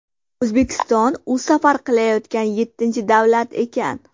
O‘zbekiston u safar qilayotgan yettinchi davlat ekan.